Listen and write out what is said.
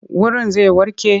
Wurin zai warke?